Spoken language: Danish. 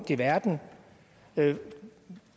i verden